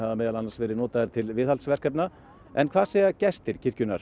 meðal annars verið notaðir til viðhaldsverkefna en hvað segja gestir kirkjunnar